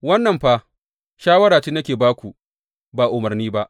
Wannan fa shawara ce nake ba ku, ba umarni ba.